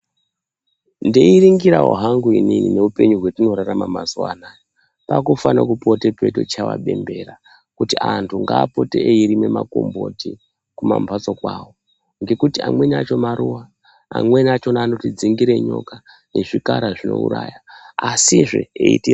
Ndeiringirawo hangu inini neupenyu watinorarama mazuva anaya, pakufane kupote peichayiwa bembera kuti antu ngaapote eirima makomboti kuma mbatso awo ngekuti amweni acho maruva amweni achona anotidzingire nyoka nezvikara zvinouraya asi zvee eitirapa.